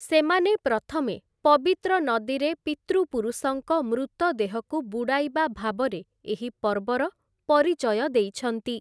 ସେମାନେ ପ୍ରଥମେ 'ପବିତ୍ର ନଦୀରେ ପିତୃପୁରୁଷଙ୍କ ମୃତଦେହକୁ ବୁଡ଼ାଇବା' ଭାବରେ ଏହି ପର୍ବର ପରିଚୟ ଦେଇଛନ୍ତି ।